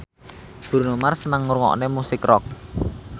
Bruno Mars seneng ngrungokne musik rock